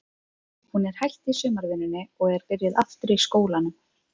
Hún er hætt í sumarvinnunni og er byrjuð aftur í skólanum.